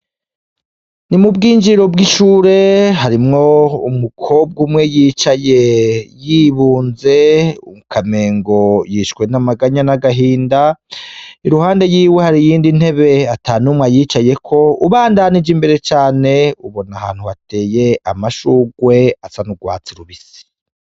Ni mu bwinjiriro bw'ishure, harimwo umukobwa umwe yicaye y'ibunze, ukamengo yishwe n'amaganya n'agahinda. Iruhande yiwe hari iyindi ntebe atanumwe ayicayeko, ubandanije imbere cane ubona ahantu hateye amashurwe asa n'urwatsi rubisi.